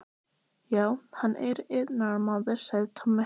Já, hann er iðnaðarmaður, sagði Tommi.